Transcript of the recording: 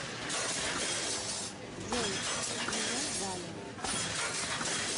джой меня валя